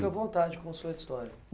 Fica à vontade com sua história.